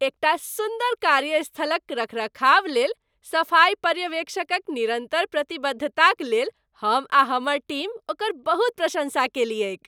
एकटा सुन्दर कार्यस्थलक रखरखावलेल सफाइ पर्यवेक्षकक निरन्तर प्रतिबद्धताक लेल हम आ हमर टीम ओकर बहुत प्रशन्सा कएलियैक।